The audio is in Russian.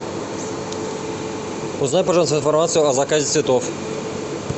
узнай пожалуйста информацию о заказе цветов